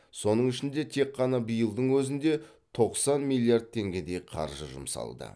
соның ішінде тек қана биылдың өзінде тоқсан миллиард теңгедей қаржы жұмсалды